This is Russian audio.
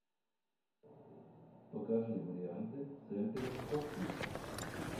покажи варианты с энтони хопкинсом